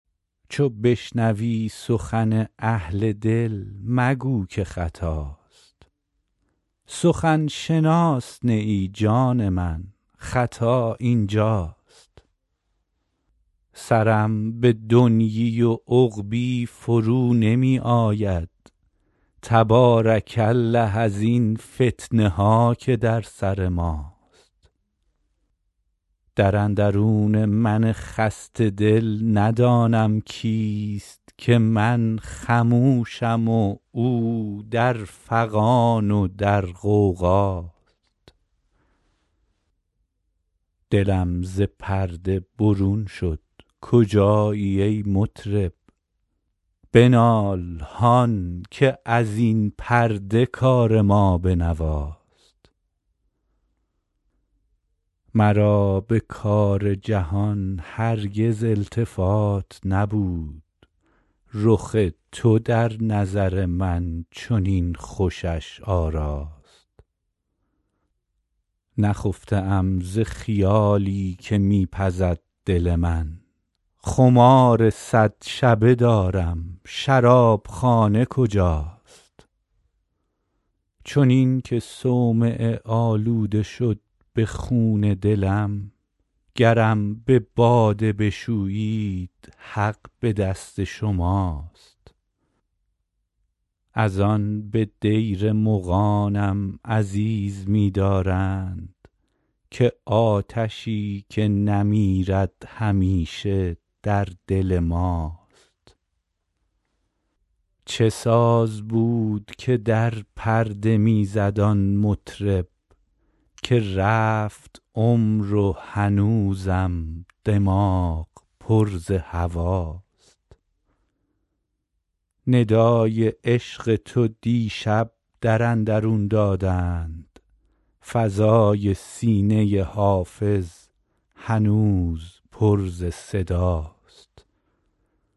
چو بشنوی سخن اهل دل مگو که خطاست سخن شناس نه ای جان من خطا این جاست سرم به دنیی و عقبی فرو نمی آید تبارک الله ازین فتنه ها که در سر ماست در اندرون من خسته دل ندانم کیست که من خموشم و او در فغان و در غوغاست دلم ز پرده برون شد کجایی ای مطرب بنال هان که از این پرده کار ما به نواست مرا به کار جهان هرگز التفات نبود رخ تو در نظر من چنین خوشش آراست نخفته ام ز خیالی که می پزد دل من خمار صد شبه دارم شراب خانه کجاست چنین که صومعه آلوده شد ز خون دلم گرم به باده بشویید حق به دست شماست از آن به دیر مغانم عزیز می دارند که آتشی که نمیرد همیشه در دل ماست چه ساز بود که در پرده می زد آن مطرب که رفت عمر و هنوزم دماغ پر ز هواست ندای عشق تو دیشب در اندرون دادند فضای سینه حافظ هنوز پر ز صداست